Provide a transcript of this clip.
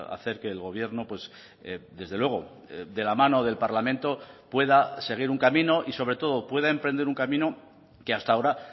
hacer que el gobierno desde luego de la mano del parlamento pueda seguir un camino y sobre todo pueda emprender un camino que hasta ahora